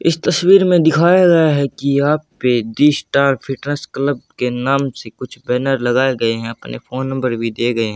इस तस्वीर में दिखाया गया है कि यहां पे दी स्टार फिटनेस क्लब के नाम से कुछ बैनर लगाए गए हैं अपने फोन नंबर भी दिए गए हैं।